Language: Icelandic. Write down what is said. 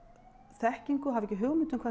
þekkingu og hafa ekki hugmynd um hvað